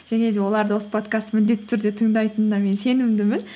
және де олар да осы подкастты міндетті түрде тыңдайтынына мен сенімдімін